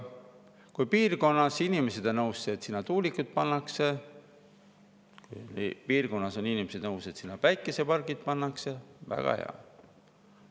Kui piirkonna inimesed on nõus, et sinna tuulikud pannakse, kui piirkonna inimesed on nõus, et sinna päikesepargid pannakse – väga hea!